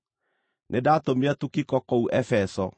Nĩndatũmire Tukiko kũu Efeso.